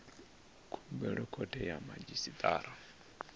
khumbelo khothe ya madzhisi ṱira